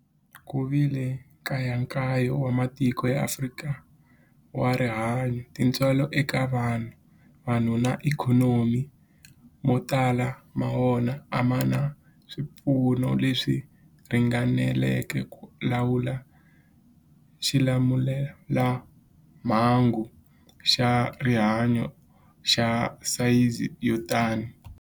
Ku vile nkayakayo wa matiko ya Afrika wa rihanyu, tintswalo eka vanhu, vanhu na ikhonomi, mo tala ma wona a ma na swipfuno leswi ringaneleke ku lawula xilamulelamhangu xa rihanyu xa sayizi yo tani.